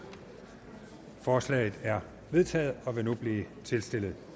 forslaget er vedtaget og vil nu blive tilstillet